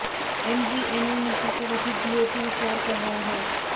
MVNO नीति पर अभी डीओटी विचार कर रहा है